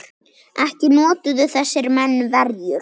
Ekki notuðu þessir menn verjur.